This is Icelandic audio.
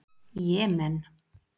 Jemen